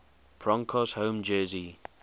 broncos home jersey